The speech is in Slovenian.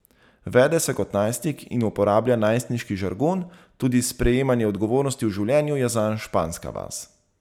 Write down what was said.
Vede se kot najstnik in uporablja najstniški žargon, tudi sprejemanje odgovornosti v življenju je zanj španska vas.